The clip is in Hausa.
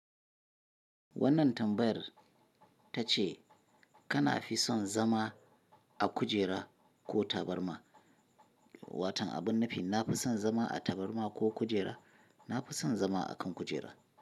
Wannan tambayar ta ce kana fi son zama a kujera ko tabarma. Watan a binne fi, na fi son zama a tabarma ko kujera. Na fi son zama a kan kujera.